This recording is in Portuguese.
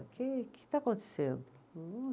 O que que está acontecendo?